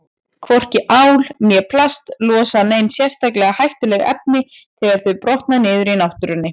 Hvorki ál né plast losa nein sérstaklega hættuleg efni þegar þau brotna niður í náttúrunni.